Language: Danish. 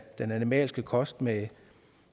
den animalske kost med